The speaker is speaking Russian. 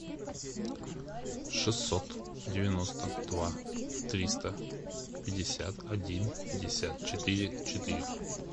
шестьсот девяносто два триста пятьдесят один пятьдесят четыре четыре